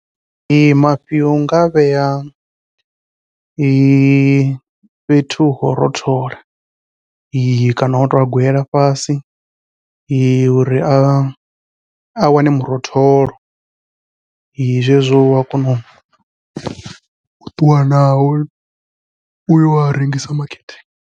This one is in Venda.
Ee mafhi unga a vhea fhethu ho rothola kana wa to a gwela fhasi uri a a wane murotholo, zwezwo ua kona u ṱuwa nao uya rengisa makete.